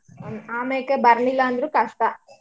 ಆಮ್ಯಾಕೆ ಬರಲಿಲ್ಲಾ ಅಂದ್ರೂ ಕಷ್ಟ.